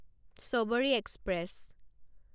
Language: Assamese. ছবৰি এক্সপ্ৰেছ